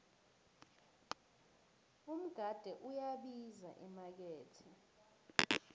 umgade uyabiza emakethe